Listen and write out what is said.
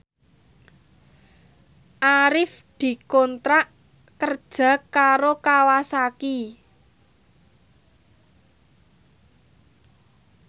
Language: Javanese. Arif dikontrak kerja karo Kawasaki